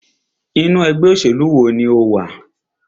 Inú ẹgbẹ́ òṣèlú wo ní o wà?